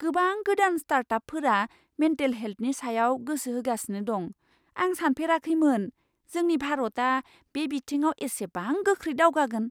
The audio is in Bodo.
गोबां गोदान स्टार्टआपफोरा मेन्टेल हेल्थनि सायाव गोसो होगासिनो दं! आं सानफेराखैमोन जोंनि भारतआ बे बिथिङाव इसिबां गोख्रै दावगागोन!